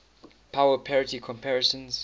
power parity comparisons